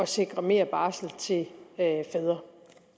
sikre mere barsel til fædre